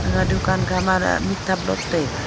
aga dukan khamara mikthap lot taiga.